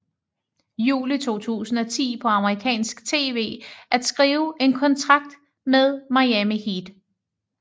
Juli 2010 på Amerikansk TV at skrive en kontrakt med Miami Heat